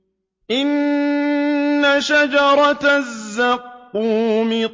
إِنَّ شَجَرَتَ الزَّقُّومِ